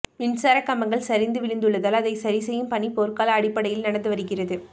மின்சார கம்பங்கள் சரிந்து விழுந்துள்ளதால் அதை சரிசெய்யும் பணி போர்க்கால அடிப்படையில் நடந்து வருகிறது